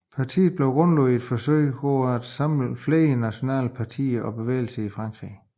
Partiet blev grundlagt i et forsøg på at samle flere nationalistiske partier og bevægelser i Frankrig